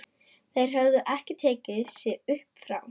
Þeir höfðu ekki tekið sig upp frá